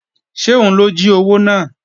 Ṣé òun ló jí owó náà?